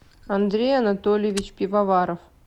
андрей анатольевич пивоваров